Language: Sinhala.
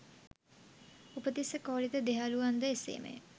උපතිස්ස, කෝලිත දෙයහළුවන් ද එසේමය.